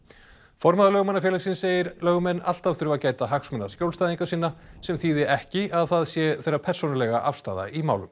formaður Lögmannafélagsins segir lögmenn alltaf þurfa gæta hagsmuna skjólstæðinga sinna sem þýði ekki að það sé þeirra persónulega afstaða í málum